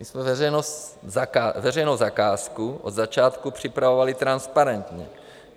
My jsme veřejnou zakázku od začátku připravovali transparentně.